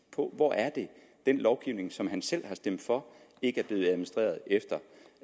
hvor er det at den lovgivning som selv har stemt for ikke efter